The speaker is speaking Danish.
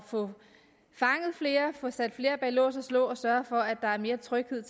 få fanget flere og få sat flere bag lås og slå og sørge for at der er mere tryghed